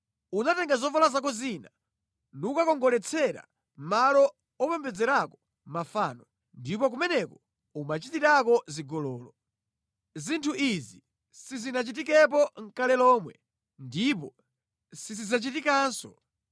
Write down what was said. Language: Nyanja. Unatenga zovala zako zina nukakongoletsera malo opembedzerako mafano, ndipo kumeneko umachitirako zigololo. Zinthu izi sizinachitikepo nʼkale lomwe ndipo sizidzachitikanso.